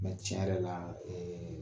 tiɲɛ yɛrɛ la